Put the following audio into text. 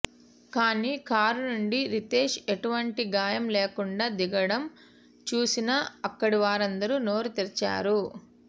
కానీ కారునుండి రితేష్ ఎటువంటి గాయం లేకుండా దిగడం చుసిన అక్కడివారందరు నోరు తెరిచారు